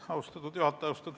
Austatud juhataja!